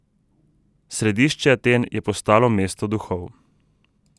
Središče Aten je postalo mesto duhov.